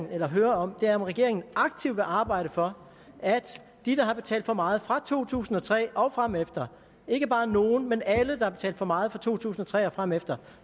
vil høre om er om regeringen aktivt vil arbejde for at de der har betalt for meget fra to tusind og tre og fremefter ikke bare nogen men alle der har betalt for meget fra to tusind og tre og fremefter